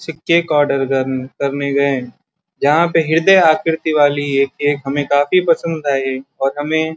cake order करन करने गए जहाँ पे ह्रदय आकृति वाली एक केक हमें काफी पसंद आई और हमें --